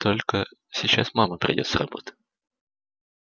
только сейчас мама придёт с работы